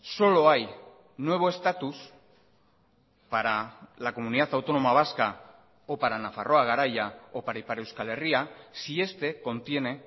solo hay nuevo estatus para la comunidad autónoma vasca o para nafarroa garaia o para ipar euskal herria si este contiene